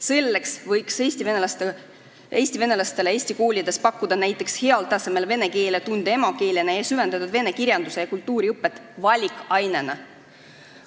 Selleks võiks Eesti venelastele eesti koolides pakkuda näiteks heal tasemel vene keele tunde emakeeletundidena ning süvendatud vene kirjanduse ja kultuuri õpet valikainena.